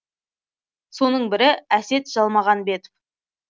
соның бірі әсет жалмағанбетов